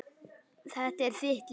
Þetta er þitt líf!